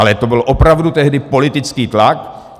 Ale to byl opravdu tehdy politický tlak.